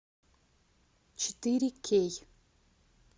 четыре кей